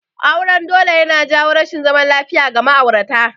Auren dole yana jawo rashin zaman lafiya ga ma'aurata